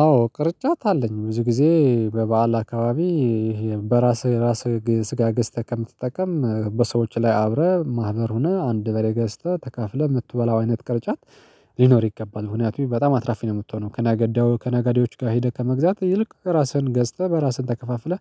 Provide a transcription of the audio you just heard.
አዎ ቅርጫት አለኝ ብዙ ጊዜ በበዓል አካባቢ በራስህ ራስህ ስጋ ገዝተህ ከምትጠቀም በሰዎች ላይ አብረህ ማህበር ሆነህ አንድ በሬ ገዝተህ ተካፍለህ የምትበላው አይነት ቅርጫት። ሊኖር ይገባል ምክንያቱም በጣም አትራፊ ነው የምትሆነው ከነገዳው ከነገዴዎች ጋር ሄደህ ከመግዛት ይልቅ ራስህን ገዝተህ በራስህን ተከፋፍለህ